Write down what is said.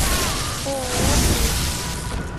ооо плюс